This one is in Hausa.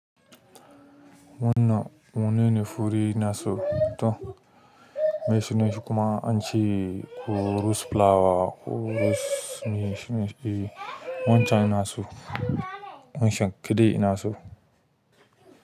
Wannan menene fure ina so to, me suna shi kuma? An ce ko rose flower ko rose me shi ne, wancan yana so, wancan kede ina so.